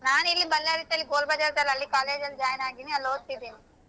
ನಾನ್ ಇಲ್ಲಿ Bellary ನಲ್ಲಿ ಇತ್ತಲ್ಲ ಅಲ್ಲಿ college ಅಲ್ಲಿ join ಆಗಿದೀನ್ ಅಲ್ಲ್ ಓದ್ತಿದ್ದಿನಿ.